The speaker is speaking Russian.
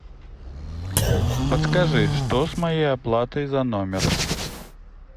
подскажи что с моей оплатой за номер